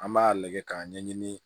An b'a lajɛ k'a ɲɛɲini